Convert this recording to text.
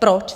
Proč?